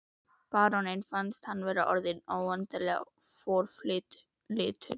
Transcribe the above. Baróninn fann að hann var orðinn óendanlega forlyftur.